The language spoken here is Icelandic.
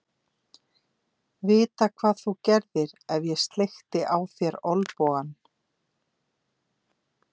Vita hvað þú gerðir ef ég sleikti á þér olnbogann.